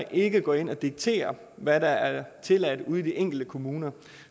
ikke går ind og dikterer hvad der er tilladt ude i de enkelte kommuner